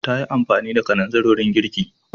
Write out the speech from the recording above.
Ta yi amfani da kananzir wurin girki.